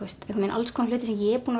alls konar hluti sem ég er búin